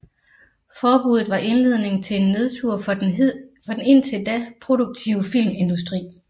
Forbuddet var indledningen til en nedtur for den indtil da produktive filmindustri